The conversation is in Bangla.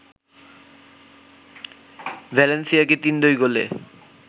ভ্যালেন্সিয়াকে ৩-২ গোলে